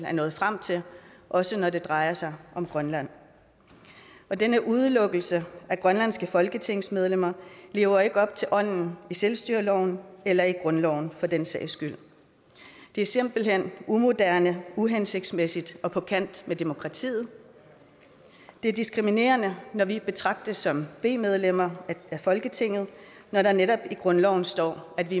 er nået frem til også når det drejer sig om grønland denne udelukkelse af grønlandske folketingsmedlemmer lever ikke op til ånden i selvstyreloven eller i grundloven for den sags skyld det er simpelt hen umoderne uhensigtsmæssigt og på kant med demokratiet det er diskriminerende når vi betragtes som b medlemmer af folketinget når der netop i grundloven står at vi